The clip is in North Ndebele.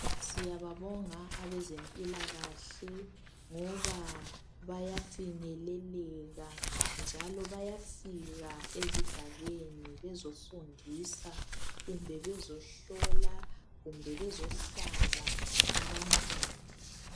Siyababonga abezempilakahle ngoba bayafinyeleleka njalo bayafika ezigabeni bezofundisa kumbe bezohlola kumbe bezohlaba abantwana.